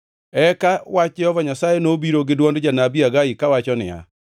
Eka wach Jehova Nyasaye nobiro gi dwond janabi Hagai kawacho niya: